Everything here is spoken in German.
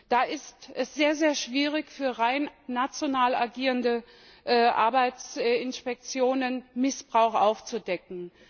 Da ist es sehr schwierig für rein national agierende Arbeitsinspektionen, Missbrauch aufzudecken.